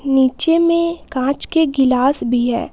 नीचे में कांच के गिलास भी है।